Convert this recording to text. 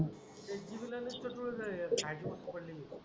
ते चिवलेल च पेट्रोल आहे हे खायची वस्तु पडली.